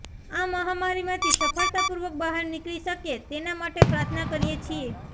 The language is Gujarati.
આ મહામારીમાંથી સફળતાપૂર્વક બહાર નીકળી શકીએ તેના માટે પ્રાર્થના કરીએ છીએ